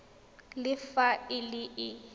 le fa e le e